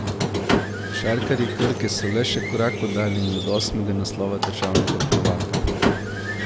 Košarkarji Krke so le še korak oddaljeni od osmega naslova državnega prvaka.